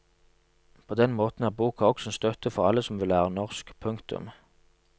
På den måten er boka også en støtte for alle som vil lære norsk. punktum